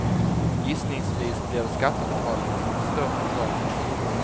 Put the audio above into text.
Gissningsvis blir det skattebetalarna som får stå för kalaset.